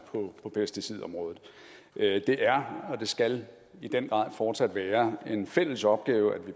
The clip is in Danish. på pesticidområdet det er og det skal i den grad fortsat være en fælles opgave at